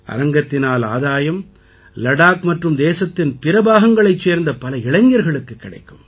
அரங்கத்தினால் ஆதாயம் லடாக் மற்றும் தேசத்தின் பிற பாகங்களைச் சேர்ந்த பல இளைஞர்களுக்குக் கிடைக்கும்